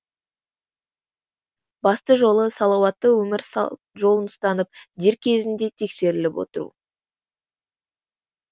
басты жолы салауаты өмір жолын ұстанып дер кезінде тексеріліп отыру